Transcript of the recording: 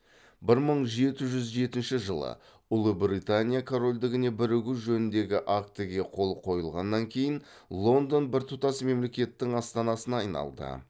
бір мың жеті жүз жетінші жылы ұлыбританияна корольдігіне бірігу жөніндегі актіге қол қойылғаннан кейін лондон біртұтас мемлекеттің астанасына айналды